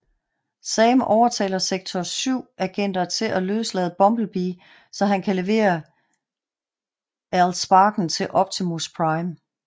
Sam overtaler Sektor 7 agenter til at løslade Bumblebee så han kan levere All Sparken til Optimus Prime